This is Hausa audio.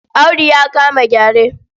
Audu ya kama gyare.